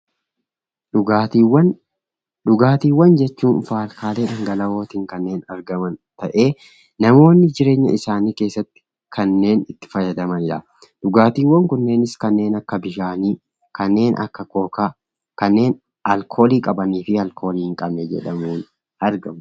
Dhugaatiiwwan. Dhugaatiiwwan jechuun faalkaalee dhangala'oon jiran yammuu ta'u jireenya guyyaa guyyaa keessatti kan namni itti fayyadamu kanneen akka bishaanii, kookaa, kanneen alkoolii qabanii fi hin qabne jedhanii argamu.